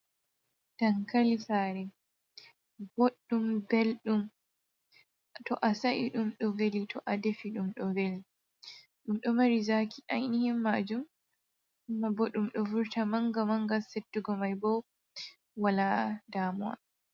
Dankali sare boɗɗum belɗum to a sa’i ɗum ɗo veli, to a defi ɗum ɗo veli, ɗum ɗo mari zaaki ainihin majum ma boɗɗum, ɗo vurta manga mangal settugo mai bo wala damuwa.